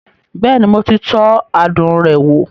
Bẹ́ẹ̀ni, mo ti tọ́ adùn rẹ̀ wò